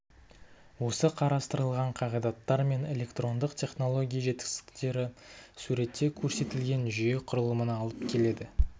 осы қарастырылған қағидаттар мен электрондық технология жетістіктері суретте көрсетілген жүйе құрылымына алып келеді